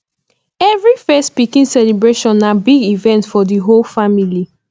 every first pikin celebration na big event for di whole family